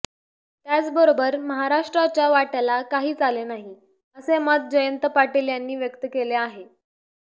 त्याचबरोबर महाराष्ट्राच्या वाट्याला काहीच आले नाही असे मत जयंत पाटील यांनी व्यक्त केले आहे